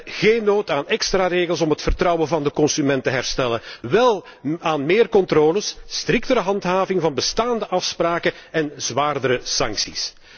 We hebben geen nood aan extra regels om het vertrouwen van de consument te herstellen, wel aan meer controles, striktere handhaving van bestaande afspraken en zwaardere sancties.